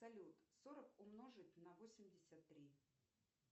салют сорок умножить на восемьдесят три